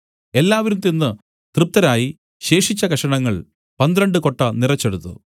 എല്ലാവരും തിന്നു തൃപ്തരായി ശേഷിച്ച കഷണങ്ങൾ പന്ത്രണ്ട് കൊട്ട നിറച്ചെടുത്തു